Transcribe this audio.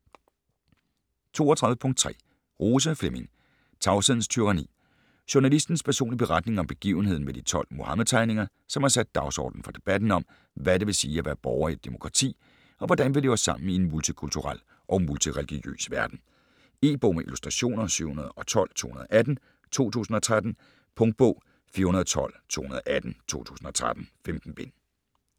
32.3 Rose, Flemming: Tavshedens tyranni Journalistens personlige beretning om begivenheden med de 12 Muhammed-tegninger, som har sat dagsordenen for debatten om, hvad det vil sige at være borger i et demokrati, og hvordan vi lever sammen i en multikulturel og multireligiøs verden. E-bog med illustrationer 712218 2013. Punktbog 412218 2013. 15 bind.